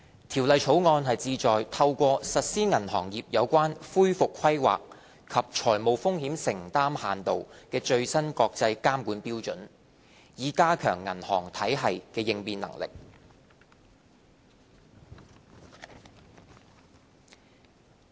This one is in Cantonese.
《條例草案》旨在透過實施銀行業有關恢復規劃及財務風險承擔限度的最新國際監管標準，以加強銀行體系的應變能力。